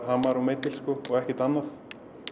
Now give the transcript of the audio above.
hamar og og ekkert annað